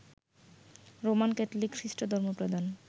Roman Catholic খ্রিস্টধর্ম প্রধান